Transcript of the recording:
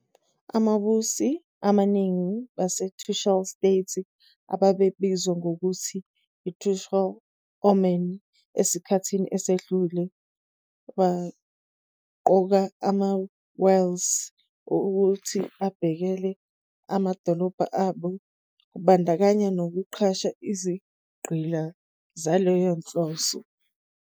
Ababusi abaningi baseTrucial States, ababebizwa nangokuthi iTrucial Oman esikhathini esedlule, baqoka ama- "walis" ukuthi abhekele amadolobha abo, kubandakanya nokuqasha izigqila zaleyo nhloso.